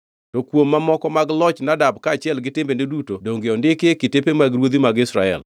To kuom mamoko mag loch Nadab kaachiel gi timbene duto donge ondiki e kitepe mag ruodhi mag Israel?